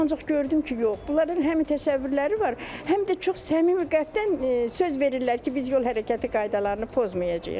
Ancaq gördüm ki, yox, bunların həm təsəvvürləri var, həm də çox səmimi qəlbdən söz verirlər ki, biz yol hərəkəti qaydalarını pozmayacağıq.